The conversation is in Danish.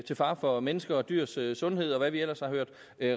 til fare for menneskers og dyrs sundhed og hvad vi ellers har hørt